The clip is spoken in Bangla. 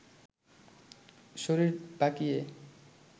শরীর বাঁকিয়ে